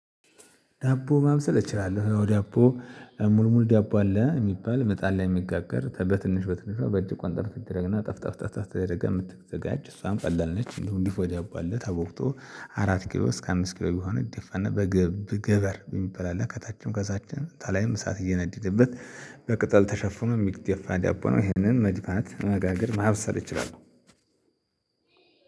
ዳቦ ማብሰል እችላለሁ ዳቦ ሙል ሙል ዳቦ አለ የሚባል ምጣድ ላይ የሚጋገር በትንሽ በትንሿ በእጅ ቆንጠር ትደረግና ጠፍ ጠፍ ጠፍ ተደርጋ የምትዘጋጅ እሷን ቀላል ነች። እንዲሁም ድፎ ዳቦ አለ ተቦክቶ አራት ኪሎ እስከ አምስት ኪሎ ሚሆን ይደፋና በግብ ገበር የሚባል አለ ከታችም ከዛችም ከላይም እሳት እየነደደበት በቅጠል ተሸፍኖ የሚገፋ ዳቦ ነው። ይሄንን መድፋት መጋገር ማብሰል እችላለሁ።